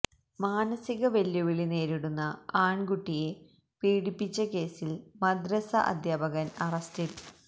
മാനസിക വെല്ലുവിളി നേരിടുന്ന ആണ്കുട്ടിയെ പീഡിപ്പിച്ച കേസില് മദ്രസ അധ്യാപകന് അറസ്റ്റില്